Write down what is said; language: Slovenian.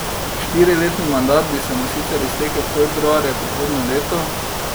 Štiriletni mandat bi se mu sicer iztekel februarja prihodnje leto.